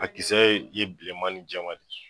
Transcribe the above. A kisɛ ye bilenman ni jɛman de ye